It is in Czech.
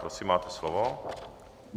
Prosím, máte slovo.